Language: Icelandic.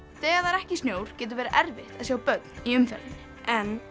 þegar það er ekki snjór getur verið erfitt að sjá börn í umferðinni